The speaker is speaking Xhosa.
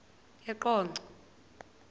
eqonco